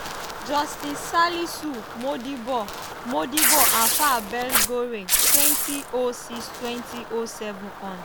justice salisu modibo modibo alfa belgore - 2006–2007 hon.